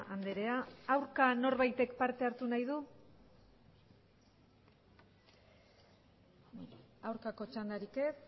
andrea aurka norbaitek parte hartu nahi du aurkako txandarik ez